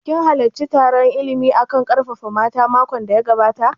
Kin halarci taron illimi a kan ƙarfafa mata makon da ya gabata?